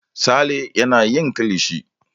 Sale yana yin kilishi.